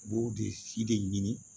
U b'o de si de ɲini